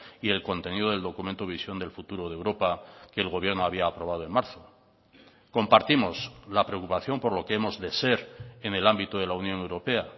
y el contenido del documento visión del futuro de europa que el gobierno había aprobado en marzo compartimos la preocupación por lo que hemos de ser en el ámbito de la unión europea